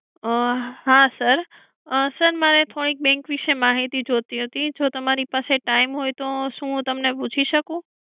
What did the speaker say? હા sir sir મારે થોડી bank વિષે માહિતી જોઈતી હતી જો તમારી પાસે time હોય તો હું તમને પૂછી શકું?